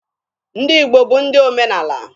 Ndị Igbo bụ ndị omenaala.